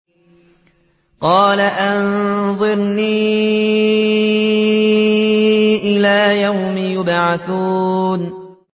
قَالَ أَنظِرْنِي إِلَىٰ يَوْمِ يُبْعَثُونَ